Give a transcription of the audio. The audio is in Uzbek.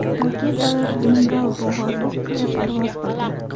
Raketalar Bengal bo‘g‘ozi ustida parvoz qildi.